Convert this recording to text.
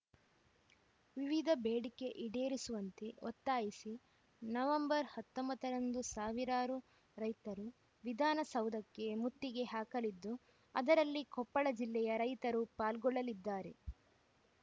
ವಿವಿಧ ಬೇಡಿಕೆ ಈಡೇರಿಸುವಂತೆ ಒತ್ತಾಯಿಸಿ ನವಂಬರ್ ಹತ್ತೊಂಬತ್ತ ರಂದು ಸಾವಿರಾರು ರೈತರು ವಿಧಾನಸೌಧಕ್ಕೆ ಮುತ್ತಿಗೆ ಹಾಕಲಿದ್ದು ಅದರಲ್ಲಿ ಕೊಪ್ಪಳ ಜಿಲ್ಲೆಯ ರೈತರು ಪಾಲ್ಗೊಳ್ಳುತ್ತಿದ್ದಾರೆ